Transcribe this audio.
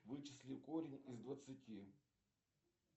вычисли корень из двадцати